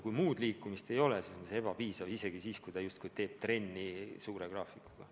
Kui muud liikumist ei ole, siis sellest ei piisa, isegi siis, kui ta justkui teeb trenni tiheda graafikuga.